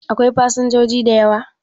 Akwai fasinjoji da yawa?